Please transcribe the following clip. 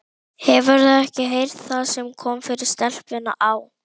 Hefurðu ekki heyrt það sem kom fyrir stelpuna á